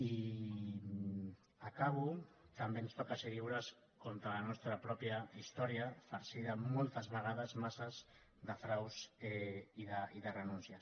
i acabo també ens toca ser lliures contra la nostra pròpia història farcida moltes vegades massa de fraus i de renúncies